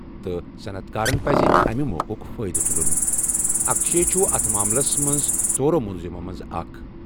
تہٕ صنعت کارن پَزِ امہِ موقعُک فٲیدٕ تُلُن۔ اکشے چھُ اَتھ معاملَس منٛز ژورَو ملزمَو منٛز اکھ۔